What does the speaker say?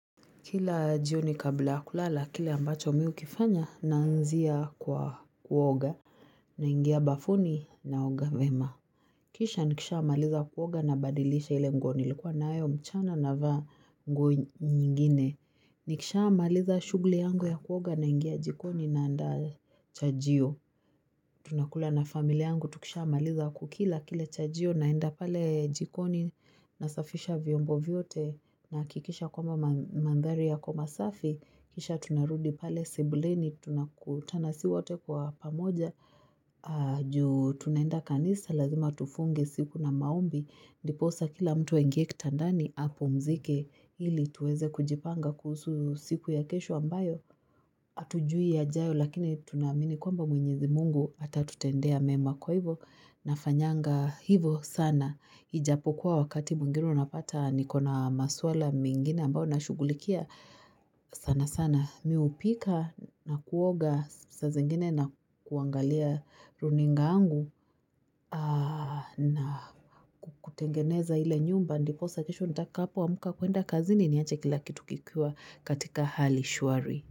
Kila jioni kabla yakulala kile ambacho mimi hukifanya na anzia kwa kuoga na ingia bafuni na oga vema. Kisha nikishamaliza kuoga na badilisha ile nguo nilikuwa nayo mchana navaa nguo nyingine. Nikisha amaliza shughuli yangu ya kuoga na ingia jikoni na andaa cha jio. Tunakula na familia yangu tukisha maliza kukila kile cha jio naenda pale jikoni na safisha vyombo vyote nahakikisha kwamba mandhari yako masafi. Kisha tunarudi pale sebuleni, tunakutana sisiwote kwa pamoja, juu tunaenda kanisa, lazima tufunge siku na maombi, ndipo sasa kila mtu aingie kitandani, apumzike, ili tuweze kujipanga kuhusu siku ya kesho ambayo, hatujui ya jayo lakini tunaamini kwamba mwenyezi mungu, hata tutendea mema kwa hivo, nafanyanga hivo sana, hijapo kuwa wakati mwingine unapata ni kona maswala mengine ambayo nashughulikia sana sana. Mimi hupika na kuoga saa zingine na kuangalia runinga yangu na kutengeneza hile nyumba ndipo sasa kesho nitakapo amka kwenda kazini ni ache kila kitu kikiwa katika hali shwari.